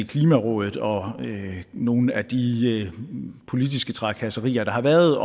klimarådet og nogle af de politiske trakasserier der har været